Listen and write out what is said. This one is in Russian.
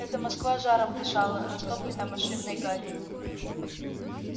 это москва жаром дышала растопленная машинной гарью